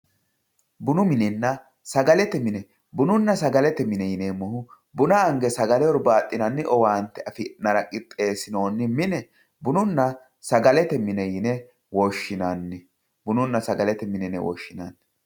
bunu minenna sagalete mine bununna sagalete mine yineemmohu buna ange sagale hurbaaxxinanni owaante afi'nara qixxeessinoonni mine bununna sagalete yine woshshinanni